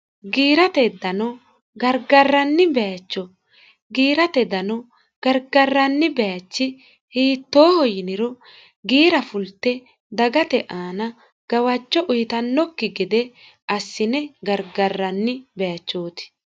giirate dano gargarranni baacho giirate dano gargarranni baachi hiittooho yiniro giira fulte dagate aana gawacho uyitannokki gede assine gargarranni baachooti